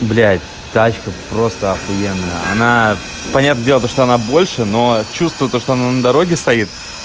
блядь тачка просто охуенная она понятное дело то что она больше но чувствую то что она на дороге стоит